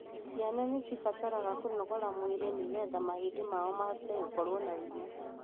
Ciana ni cibataraga kũnogora mwirĩ nĩgetha mahĩndi mao mahote gũkorwo na hinya.